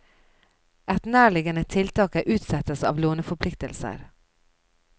Et nærliggende tiltak er utsettelse av låneforpliktelser.